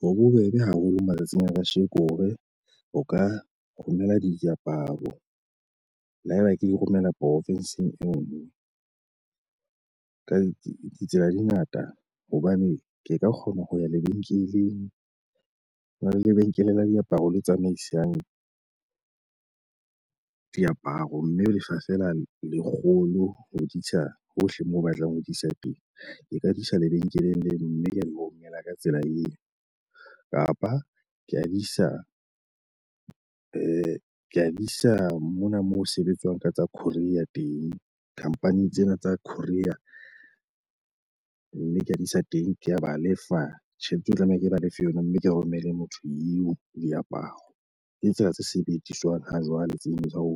Ho bobebe haholo matsatsing a kasheko hore o ka romella diaparo le haeba ke di romela profinsing eo. Ka ditsela di ngata hobane ke ka kgona ho ya lebenkeleng, ho na le lebenkele la diaparo le tsamaisang diaparo. Mme o lefa feela lekgolo ho di isa hohle moo o batlang ho di isa teng. Ke ka di isa lebenkeleng le mme ke mo romela ka tsela eo kapa ka di isa ng Ee, kea isa mona moo ho sebetswang ka tsa courier teng. Company tsena tsa courier, mme ka di isa teng, ke ba lefa tjhelete eo tlameha ke ba lefe yona, mme ke romele motho eo diaparo. Ke tsela tse sebediswang ha jwale tseno tsa ho